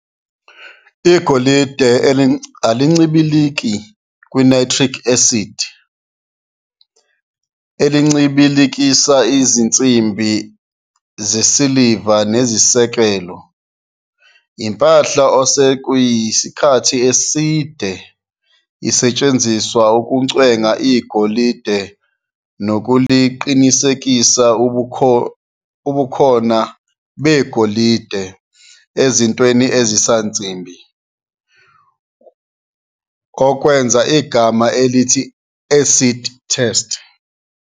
Igolide alincibiliki ku-nitric acid, elincibilikisa izinsimbi zesiliva nezisekelo, impahla osekuyisikhathi eside isetshenziselwa ukucwenga igolide nokuqinisekisa ubukhona begolide ezintweni ezisansimbi, okwenza igama elithi acid test.